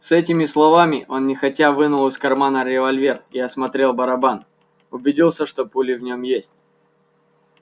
с этими словами он нехотя вынул из кармана револьвер и осмотрев барабан убедился что пули в нем есть